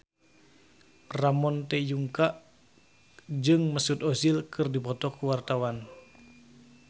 Ramon T. Yungka jeung Mesut Ozil keur dipoto ku wartawan